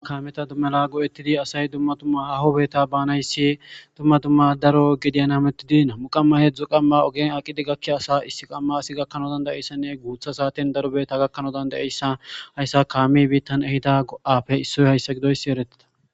Kaameta mala go'ettidi asay dumm dumma haho beeta baanayssi dumma dumma daro gediyan hametidi nami'u qamma heedzdu qamma ogen aqidi gakkiyasa issi qamman asi gakkana danda'ishin guuththa saaten daro beeta gakkana danda'iyayssa hayssa kaamey biittan ehida go'appe isso gididayssi eretides.